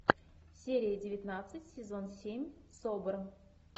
серия девятнадцать сезон семь собр